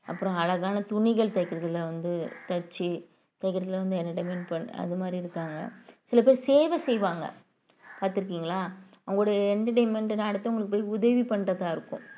அப்புறம் அழகான துணிகள் தைக்கிறதுல வந்து தைச்சு தைக்கிறதுல வந்து entertainment பண்~ அது மாதிரி இருக்காங்க சில பேர் சேவை செய்வாங்க பார்த்திருக்கீங்களா அவங்களுடைய entertainment என்ன அடுத்தவங்களுக்கு போய் உதவி பண்றதா இருக்கும்